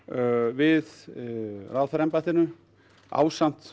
við ráðherraembættinu ásamt